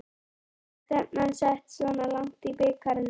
En var stefnan sett svona langt í bikarnum?